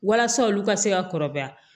Walasa olu ka se ka kɔrɔbaya